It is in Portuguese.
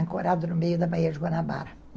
Ancorado no meio da Baía de Guanabara.